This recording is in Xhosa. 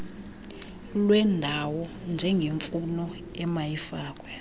lwendawo njengemfuno emayifakwe